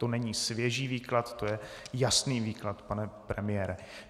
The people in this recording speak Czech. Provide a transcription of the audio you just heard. To není svěží výklad, to je jasný výklad, pane premiére.